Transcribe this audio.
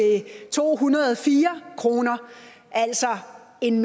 to hundrede og fire kroner altså en